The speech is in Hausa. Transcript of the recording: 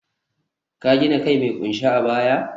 ka gina kai mai kunshe a baya?